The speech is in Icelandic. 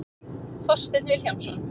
Þorsteinn Vilhjálmsson.